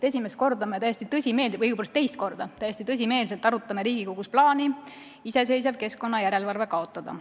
Esimest korda me täiesti tõsimeeli või õigupoolest teist korda täiesti tõsimeeli arutame Riigikogus plaani iseseisev keskkonnajärelevalve kaotada.